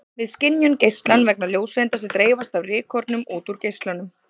Við skynjum geislann vegna ljóseinda sem dreifast af rykkornum út úr geislanum.